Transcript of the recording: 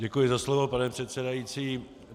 Děkuji za slovo, pane předsedající.